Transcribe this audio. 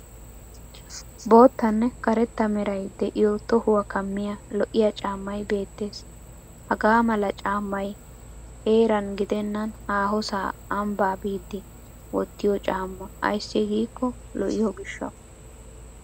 Boottanne karetta meray de'iyo tohuwaa kammiyaa lo'iya caammay beettes. Hagaa mala caammay heeran gidennan haahosaa ambbaa biddi wottiyo caamma ayssi giikko lo'iyo gishshawu.